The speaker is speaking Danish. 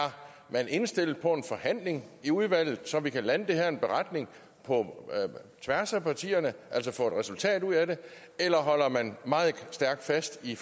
man indstillet på en forhandling i udvalget så vi kan lande det her i en beretning på tværs af partierne altså få et resultatet ud af det eller holder man meget stærkt fast i